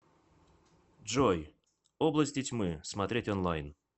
джой области тьмы смотреть онлайн